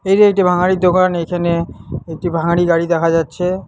এইটা একটি ভাঙাড়ির দোকান এইখানে একটি ভাঙাড়ি গাড়ি দেখা যাচ্ছে।